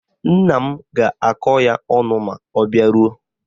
Nna m ga-akọ ya ọnụ ma ọ bịaruo